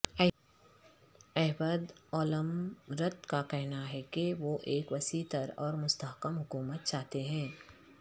Ehud Olmert کا کہنا ہے کہ وہ ایک وسیع تر اور مستحکم حکومت چاہتے ہیں